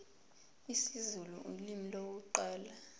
isizulu ulimi lokuqala